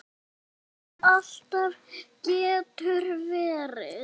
Þú segir alltaf getur verið!